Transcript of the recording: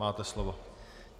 Máte slovo.